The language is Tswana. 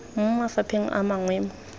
mo mafapheng a mangwe mo